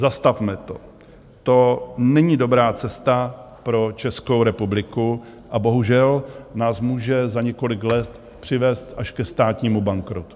Zastavme to, to není dobrá cesta pro Českou republiku a bohužel nás může za několik let přivést až ke státnímu bankrotu.